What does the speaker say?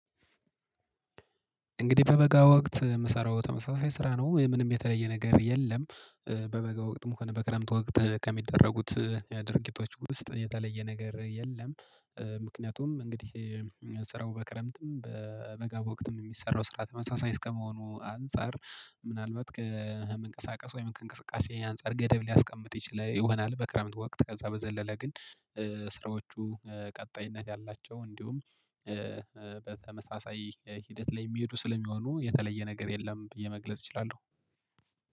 እንግዲህ በበጋ ወቅት የምሰራው ተመሳሳይ ስራ ነው ምንም የተለየ ነገር የለም። በበጋ ወቅት ሙከራ በቀረምት ወቅት ከሚደረጉት የድርጊቶች ውስጥ የተለየ ነገር የለም። ምክንያቱም እንግዲህ ስራው በክረምትም በበጋ ወቅትም የሚሰራው ስራ ተመሳሳይ እስከመሆኑ አንፃር ምናልባት ከመንቀሳቀስ ወይም ከእንቅስቃሴ አንፃር ገደብ ሊያስቀምጥ ይችል ይሆናል በክረምት ወቅት ከዛ በዘለለ ግን ስራዎቹ ቀጣይነት ያላቸው እንዲሁም በተመሳሳይ ሂደት ላይ የሚሄዱ ስለሚሆኑ የተለየ ነገር የለም። በየመግለጽ እችላለሁ።